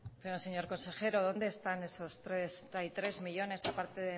pero señor consejero donde están esos treinta y tres millónes a parte